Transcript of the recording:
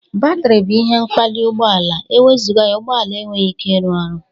Batiri bụ ihe mkpali ụgbọala; Ewezụga ya Ụgbọala enweghi ike ịrụ ọrụ.